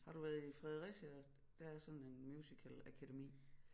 Har du været i Fredericia der er sådan en musicalakademi